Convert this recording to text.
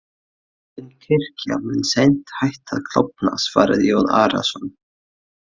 Klofin kirkja mun seint hætta að klofna, svaraði Jón Arason.